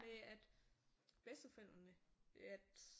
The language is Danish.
Men at bedsteforældrene at